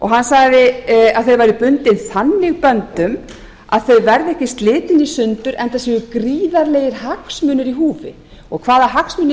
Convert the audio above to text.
hann sagði að þau væru bundin þannig böndum að þau verði ekki slitin í sundur enda séu gríðarlegir hagsmunir í húfi hvaða hagsmuni